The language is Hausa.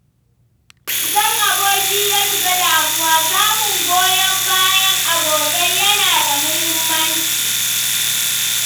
Idan aboki ya shiga damuwa, samun goyon bayan abokai yana da muhimmanci.